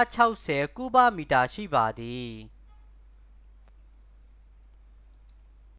120-160 ကုဗမီတာ ရှိပါသည်